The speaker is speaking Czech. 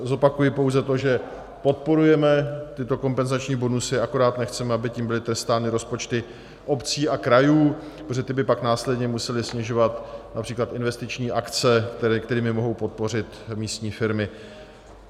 Zopakuji pouze to, že podporujeme tyto kompenzační bonusy, akorát nechceme, aby tím byly trestány rozpočty obcí a krajů, protože ty by pak následně musely snižovat například investiční akce, kterými mohou podpořit místní firmy.